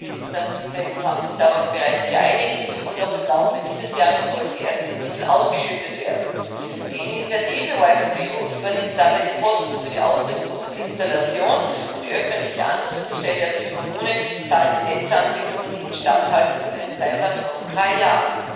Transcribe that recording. Die Finanzminister der EU haben sich darauf bereits geeinigt, und noch im Laufe dieses Jahres sollen die ersten Mittel ausgeschüttet werden. Die Initiative WiFi4EU übernimmt dabei die Kosten für die Ausrüstung und Installation, und die ansuchende öffentliche Stelle, also die Kommune, zahlt die Netzanbindung und die Instandhaltung für einen Zeitraum von drei Jahren.